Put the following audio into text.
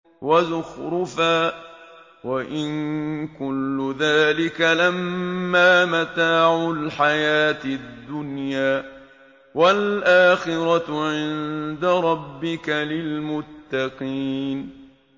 وَزُخْرُفًا ۚ وَإِن كُلُّ ذَٰلِكَ لَمَّا مَتَاعُ الْحَيَاةِ الدُّنْيَا ۚ وَالْآخِرَةُ عِندَ رَبِّكَ لِلْمُتَّقِينَ